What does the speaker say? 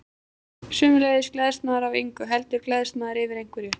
Sömuleiðis gleðst maður ekki af engu, heldur gleðst maður yfir einhverju.